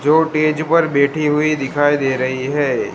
जो टेज पर बैठी हुई दिखाई दे रही हैं।